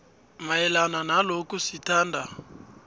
mayelana nalokhu sithanda